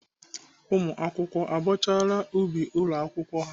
Ụmụakwụkwọ abọchara ubi ụlọ akwụkwọ ha?